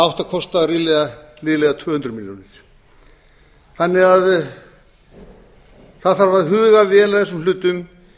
það átti að kosta liðlega tvö hundruð milljónir þannig að það þarf að huga vel að þessum hlutum gera